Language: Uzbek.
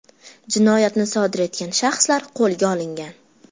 Jinoyatni sodir etgan shaxslar qo‘lga olingan.